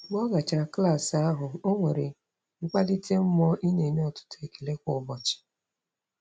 Mgbe ọ gachara klaasị ahụ, o nwere mkpalite mmụọ ị na-enye ọtụtụ ekele kwa ụbọchị.